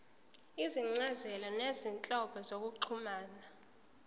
izincazelo zezinhlobo zokuxhumana